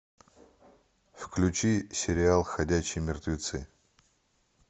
включи сериал ходячие мертвецы